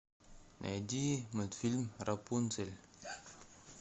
найди мультфильм рапунцель